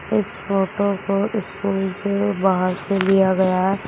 इस फोटो को स्कूल से बाहर से लिया गया है।